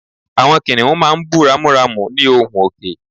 Àwọn kìnìún máa ń bú ramúramù ní ohùn òkè